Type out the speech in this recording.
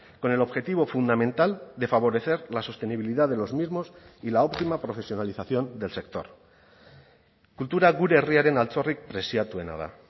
con el objetivo fundamental de favorecer la sostenibilidad de los mismos y la óptima profesionalización del sector kultura gure herriaren altxorrik preziatuena da